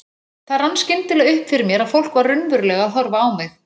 Það rann skyndilega upp fyrir mér að fólk var raunverulega að horfa á mig.